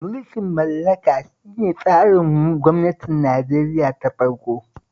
Mulkin mallaka shi ne tsarin gwamnatin Nigeria na farko